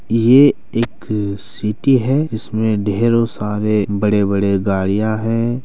ये एक सिटी हैं इसमें ढ़ेरों सारे बड़े-बड़े गाड़ियाँ हैं।